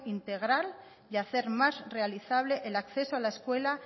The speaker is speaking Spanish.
integral y hacer más realizable el acceso a la escuela